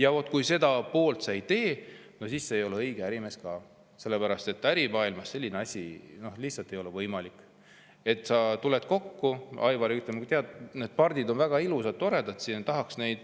Aga kui sa seda poolt ei tee, siis sa ei ole õige ärimees ka, sellepärast et ärimaailmas selline asi lihtsalt ei ole võimalik, et sa tuled kokku, Aivar, tead, need on väga ilusad, toredad, tahaks neid …